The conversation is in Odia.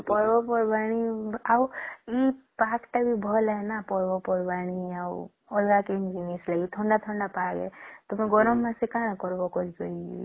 ହଁ ପର୍ବ ପର୍ବାଣି ଆଉ ହଁ ଏଇ ପାଗ ଟା ବି ଭଲ ହେ ନ ପର୍ବ ପର୍ବାଣି ଆଉ ଅଲଗା କିନ ଜିନିଷ ଥଣ୍ଡା ଥଣ୍ଡା ପାଗ ତୁମେ ଗରମ ମାସେ ରେ କଣ କରିବା